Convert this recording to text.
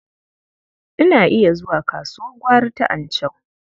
Ina iya zuwa kasuwar gwari ta Anchau.